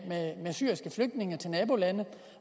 syriske flygtninge til nabolande